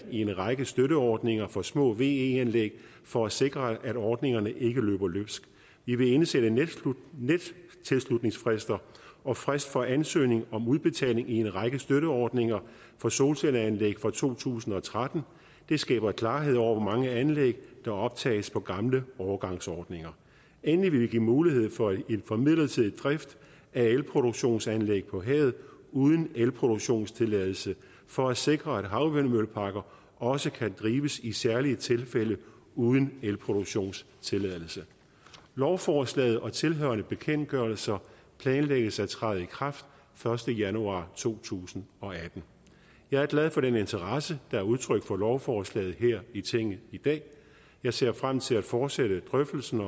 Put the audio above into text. i en række støtteordninger for små ve anlæg for at sikre at ordningerne ikke løber løbsk vi vil indsætte nettilslutningsfrister og frist for ansøgning om udbetaling i en række støtteordninger for solcelleanlæg fra to tusind og tretten det skaber klarhed over hvor mange anlæg der optages på gamle overgangsordninger endelig vil vi give mulighed for for midlertidig drift af elproduktionsanlæg på havet uden elproduktionstilladelse for at sikre at havvindmølleparker også kan drives i særlige tilfælde uden elproduktionstilladelse lovforslaget og tilhørende bekendtgørelser planlægges at træde i kraft første januar to tusind og atten jeg er glad for den interesse der er udtrykt for lovforslaget her i tinget i dag jeg ser frem til at fortsætte drøftelsen